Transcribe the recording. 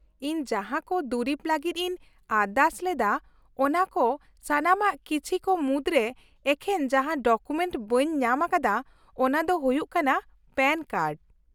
-ᱤᱧ ᱡᱟᱦᱟᱸ ᱠᱚ ᱫᱩᱨᱤᱵ ᱞᱟᱹᱜᱤᱫ ᱤᱧ ᱟᱨᱫᱟᱥ ᱞᱮᱫᱟ, ᱚᱱᱟ ᱠᱚ ᱥᱟᱱᱟᱢᱟᱜ ᱠᱤᱪᱷᱤ ᱠᱚ ᱢᱩᱫᱨᱮ ᱮᱠᱮᱱ ᱡᱟᱦᱟᱸ ᱰᱚᱠᱩᱢᱮᱱᱴ ᱵᱟᱹᱧ ᱧᱟᱢ ᱟᱠᱟᱫᱟ ᱚᱱᱟ ᱫᱚ ᱦᱩᱭᱩᱜ ᱠᱟᱱᱟ ᱯᱮᱹᱱ ᱠᱟᱨᱰ ᱾